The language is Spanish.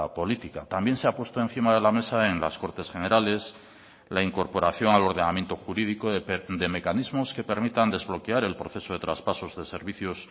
política también se ha puesto encima de la mesa en las cortes generales la incorporación al ordenamiento jurídico de mecanismos que permitan desbloquear el proceso de traspasos de servicios